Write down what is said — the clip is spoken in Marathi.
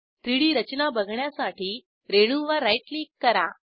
3डी रचना बघण्यासाठी रेणूवर राईट क्लिक करा